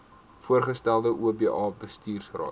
voorgestelde oba bestuursraad